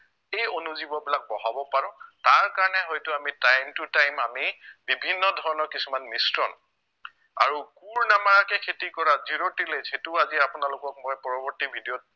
এই অনুজীৱবিলাক বঢ়াব পাৰো তাৰকাৰণে হয়তো আমি time to time আমি বিভিন্ন ধৰণৰ কিছুমান মিশ্ৰণ আৰু কোৰ নমৰাকে খেতি কৰা zero tillage সেইটো আজি আপোনালোকক মই পৰৱৰ্তী video ত